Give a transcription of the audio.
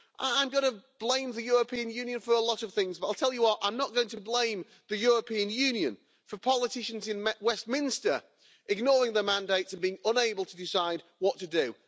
I'm going to blame the European Union for a lot of things, but I'll tell you what, I'm not going to blame the European Union for politicians in Westminster ignoring the mandates and being unable to decide what to do.